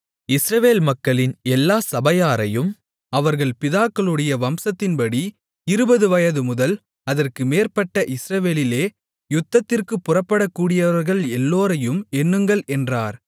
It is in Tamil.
இஸ்ரவேல் மக்களின் எல்லா சபையாரையும் அவர்கள் பிதாக்களுடைய வம்சத்தின்படி இருபது வயதுமுதல் அதற்கு மேற்பட்ட இஸ்ரவேலிலே யுத்தத்திற்குப் புறப்படக்கூடியவர்கள் எல்லோரையும் எண்ணுங்கள் என்றார்